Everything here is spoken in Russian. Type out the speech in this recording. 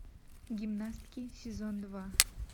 гимнастки сезон два